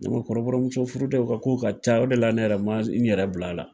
Ne ma kɔrɔbɔrɔmuso furu dɛ u ka kow ka ca o de la ne yɛrɛ ma n yɛrɛ bil'a la